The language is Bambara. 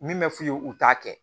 Min bɛ f'u ye u t'a kɛ